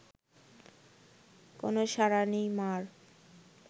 কোনও সাড়া নেই মা’র